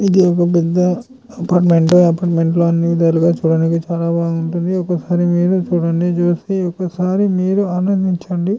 ఇది ఒక్క పెద్ద అపార్ట్మెంటు. అపార్ట్మెంట్ లో అన్నీవిధాలుగా చూడటానికి చాలా బాగుంటుంది. ఒకసారి మీరు చూడండి చూస్తే ఒక్కసారి మీరు ఆనందించండి.